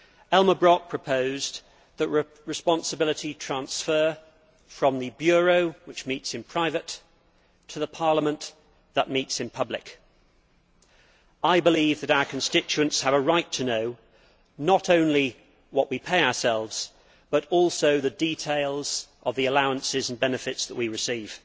Elmar Brok proposed that responsibility be transferred from the Bureau, which meets in private, to the Parliament, which meets in public. I believe that our constituents have a right to know not only what we pay ourselves, but also the details of the allowances and benefits that we receive.